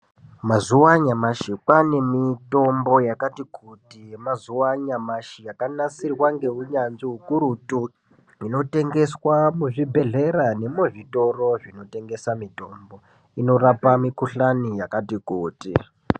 Mazuva anyamashi kwane mitombo yakati kuti yemazuva anyamashi yakanasirwa ngeunyanzvi ukurutu inotengeswa muzvibhedhlera nekuzvitoro zvinotengeswa mitombo inorapa mikuhlani yakati kuti.